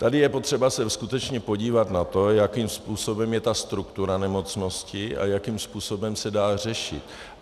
Tady je potřeba se skutečně podívat na to, jakým způsobem je ta struktura nemocnosti a jakým způsobem se dá řešit.